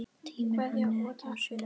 Tími henni ekki á sjóinn!